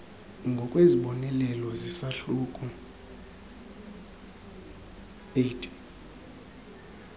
ngokwezibonelelo zesahluko viii